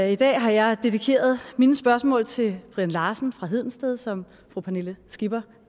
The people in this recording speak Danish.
i dag har jeg dedikeret mine spørgsmål til brian larsen fra hedensted som fru pernille skipper